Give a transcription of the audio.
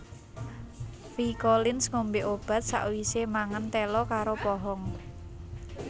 Phi Collins ngombe obat sakwise mangan telo karo pohong